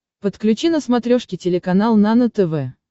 подключи на смотрешке телеканал нано тв